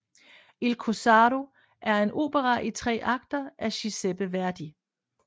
Il corsaro er en opera i tre akter af Giuseppe Verdi